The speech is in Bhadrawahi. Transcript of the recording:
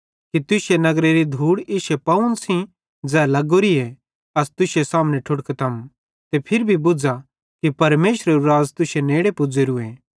कि तुश्शे नगरेरी धूड़ भी इश्शे पावन सेइं ज़ै लगोरीए अस तुश्शे सामने ठुड़कतम ते फिरी भी बुझ़ा कि परमेशरेरू राज़ तुश्शे नेड़े पुज़ेरूए